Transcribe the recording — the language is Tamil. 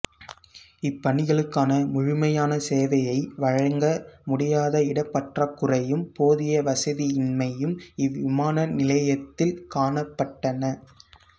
இப்பயணிகளுக்கான முழுமையான சேவையை வழங்க முடியாத இடப்பற்றாக்குறையும் போதிய வசதியின்மையும் இவ்விமான நிலையத்தில் காணப்பட்டன